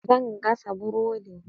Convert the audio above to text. Zan gasa burodin.